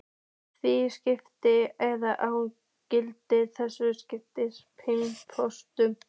Með þínu samþykki eða án, gildir einu, svaraði biskup.